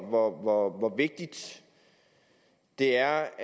og det er